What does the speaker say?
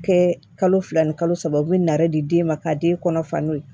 Kɛ kalo fila ni kalo saba u bɛ nare di den ma ka den kɔnɔ fa n'o ye